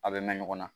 A bɛ mɛn ɲɔgɔn na